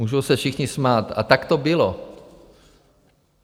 Můžou se všichni smát, a tak to bylo.